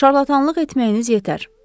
Şarlatanlıq etməyiniz yetər.